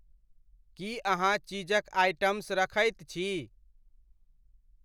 की अहाँ चीज़क आइटम्स रखैत छी ?